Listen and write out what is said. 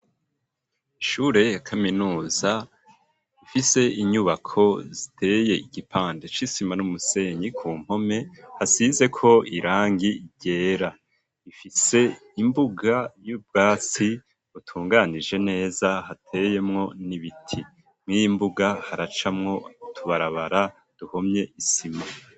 Ishure ya kaminuza, ifise inyubako ziteye igipande c'isima n'umusenyi ku mpome, hasizeko irangi ryera, ifise imbuga y'ubwatsi, butunganije neza hateyemwo n'ibiti, mw'iyi mbuga haracamwo utubarabara duhomye isima.